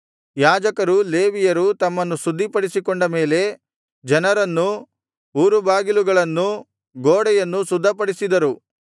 ಯಾಜಕರೂ ಲೇವಿಯರೂ ತಮ್ಮನ್ನು ಶುದ್ಧಿಪಡಿಸಿಕೊಂಡ ಮೇಲೆ ಜನರನ್ನೂ ಊರುಬಾಗಿಲುಗಳನ್ನೂ ಗೋಡೆಯನ್ನು ಶುದ್ಧಪಡಿಸಿದರು